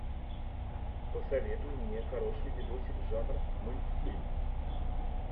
посоветуй мне хороший видосик жанр мультфильм